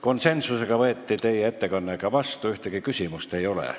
Konsensusega võeti teie ettekanne ka vastu, ühtegi küsimust ei ole.